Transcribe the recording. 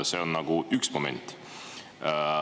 See on nagu üks moment.